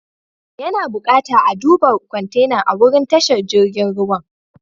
Ya na bukata a'duba kwantenan a'wurin tashar jirigin ruwan.